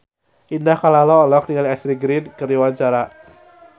Indah Kalalo olohok ningali Ashley Greene keur diwawancara